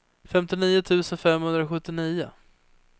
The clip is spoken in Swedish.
femtionio tusen femhundrasjuttionio